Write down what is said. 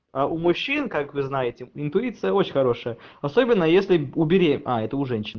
а у мужчин как вы знаете интуиция очень хорошая особенно если убери а это у женщин